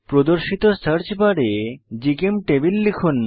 প্রদর্শিত সার্চ বারে জিচেমটেবল লিখুন